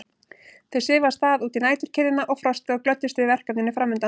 Þau svifu af stað út í næturkyrrðina og frostið og glöddust yfir verkefninu framundan.